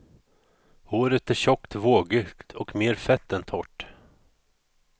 Håret är tjockt, vågigt och mer fett än torrt.